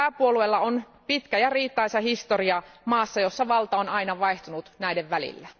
Pääpuolueilla on pitkä ja riitaisa historia maassa, jossa valta on aina vaihtunut näiden välillä.